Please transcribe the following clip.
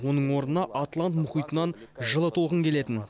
оның орнына атлант мұхитынан жылы толқын келетін